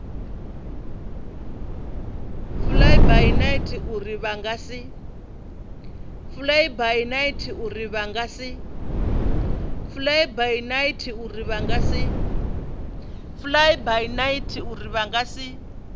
flybynight uri vha nga si